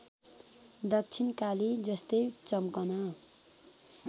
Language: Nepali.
दक्षिणकाली जस्तै चम्कन